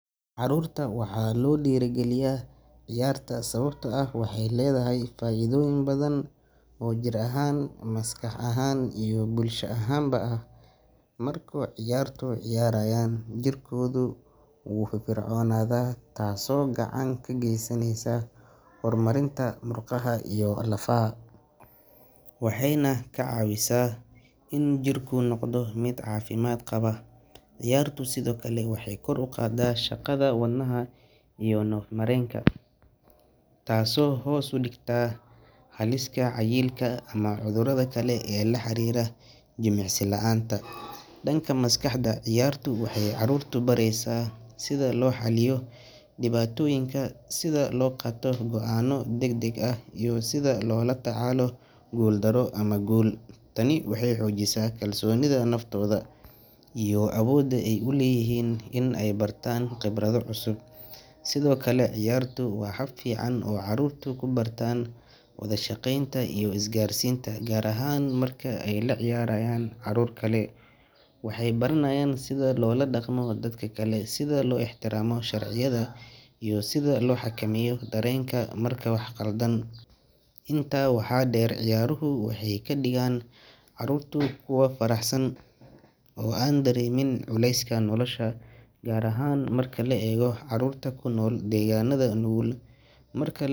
Carruurta waxaa loo dhiirrigeliyaa ciyaarta sababtoo ah waxay leedahay faa’iidooyin badan oo jir ahaan, maskax ahaan iyo bulsho ahaanba ah. Marka carruurtu ciyaarayaan, jirkooda wuu firfircoonaadaa taasoo gacan ka geysaneysa horumarinta murqaha iyo lafaha, waxayna kaa caawisaa in jirku noqdo mid caafimaad qaba. Ciyaartu sidoo kale waxay kor u qaadaa shaqada wadnaha iyo neef-mareenka, taasoo hoos u dhigta halista cayilka ama cudurrada kale ee la xiriira jimicsi la’aanta. Dhanka maskaxda, ciyaartu waxay carruurta baraysaa sida loo xalliyo dhibaatooyinka, sida loo qaato go’aanno degdeg ah, iyo sida loola tacaalo guuldarro ama guul. Tani waxay xoojisaa kalsoonida naftooda iyo awoodda ay u leeyihiin in ay bartaan khibrado cusub. Sidoo kale, ciyaartu waa hab fiican oo carruurtu ku bartaan wada shaqaynta iyo isgaarsiinta, gaar ahaan marka ay la ciyaarayaan carruur kale. Waxay baranayaan sida loola dhaqmo dadka kale, sida loo ixtiraamo sharciyada iyo sida loo xakameeyo dareenka marka wax khaldaan. Intaa waxaa dheer, ciyaaruhu waxay ka dhigaan carruurta kuwo faraxsan oo aan dareemin culeyska nolosha, gaar ahaan marka la eego carruurta ku nool deegaanada nugul. Marka.